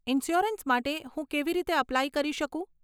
Insurance માટે હું કેવી રીતે અપ્લાય કરી શકું?